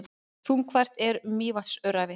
Þungfært er um Mývatnsöræfi